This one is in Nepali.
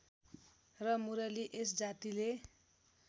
र मुरली यसजातिले